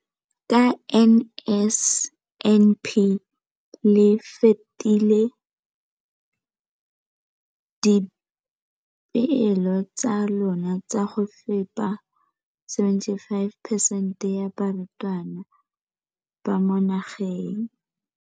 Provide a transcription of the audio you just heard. Ka NSNP le fetile dipeelo tsa lona tsa go fepa masome a supa le botlhano a diperesente ya barutwana ba mo nageng.